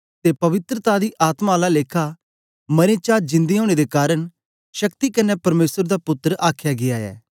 ते पवित्रता दी आत्मा आला लेखा मरें दे चां जिंदे ओनें दे कारन शक्ति कन्ने परमेसर दा पुत्तर आखया गीया ऐ